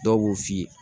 Dɔw b'o f'i ye